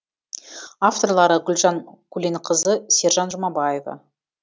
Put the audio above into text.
авторлары гүлжан көленқызы сержан жұмабаева